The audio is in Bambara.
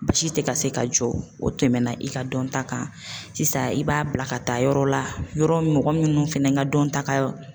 Basi tɛ ka se ka jɔ o tɛmɛna i ka dɔnta kan sisan i b'a bila ka taa yɔrɔ la yɔrɔ mɔgɔ minnu fɛnɛ ka dɔnta ka.